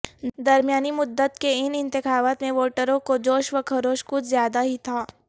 درمیانی مدت کے ان انتخابات میں ووٹروں کو جوش و خروش کچھ زیادہ ہی تھا